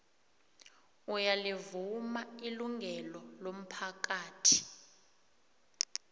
uyalivuma ilungelo lomphakathi